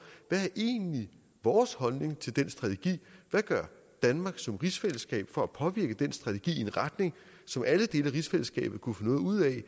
hvad er egentlig vores holdning til den strategi hvad gør danmark som rigsfællesskab for at påvirke den strategi i en retning som alle dele af rigsfællesskabet kunne få noget ud af